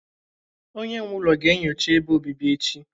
Onye nwe ụlọ ga-enyocha ebe obibi echi